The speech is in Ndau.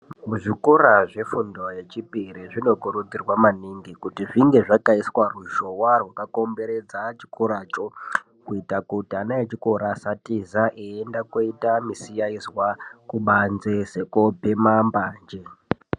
Muzvikora zvefundo yechipiri zvinokurudzirwa maningi kuti zvinge zvakaiswa ruzhowa rwakakomberedza chikora cho kuita kuti ana echikora asatiza eienda koita misiyaizwa kubanzi sekobhema mbanje.